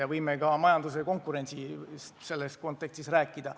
Me võime sellest ka majanduskonkurentsi kontekstis rääkida.